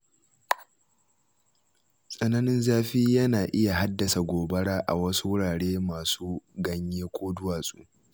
Tsananin zafi yana iya haddasa gobara a wasu wurare masu ganye ko duwatsu.